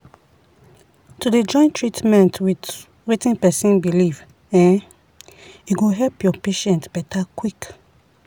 to dey join treatment with wetin person belief[um]e go help your patient better quick.